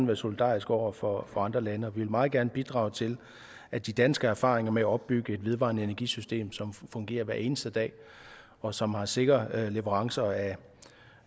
være solidariske over for andre lande og vi vil meget gerne bidrage til at de danske erfaringer med at opbygge et vedvarende energisystem som fungerer hver eneste dag og som har sikre leverancer